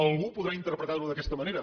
algú podrà interpretar ho d’aquesta manera